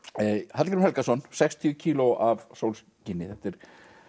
Hallgrímur Helgason sextíu kíló af sólskini þetta er